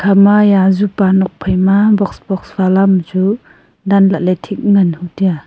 hama iya azupa nokphai ma box box ma dan lah leh ngan hu tai a.